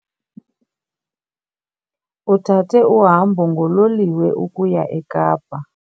Uthathe uhambo ngololiwe ukuya eKapa